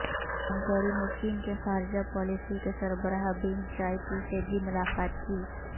جان Kerry نے چین کے خارجہ پالیسی کے سربراہ یینگ جائچی سے بھی ملاقات کی